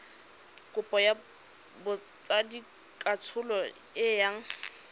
kopo ya botsadikatsholo e yang